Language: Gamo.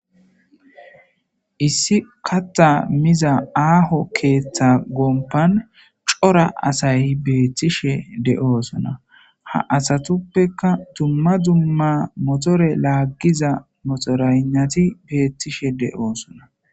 Issi kaththa miza aaho keeththa gompan cora asay beettishe de'osona ha asatupekka dumma dumma motore laagiza motoreynati beettishe de'osona.